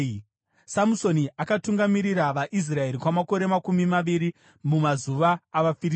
Samusoni akatungamirira vaIsraeri kwamakore makumi maviri mumazuva avaFiristia.